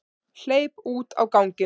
Hleypur út á ganginn.